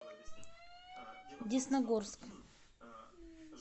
десногорск